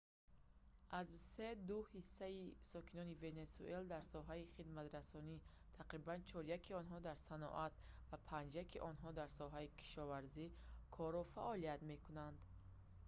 аз се ду ҳиссаи сокинони венесуэла дар соҳаи хидматрасонӣ тақрибан чоряки онҳо дар саноат ва панҷяки онҳо дар соҳаи кишоварзӣ кору фаъолият мекунанд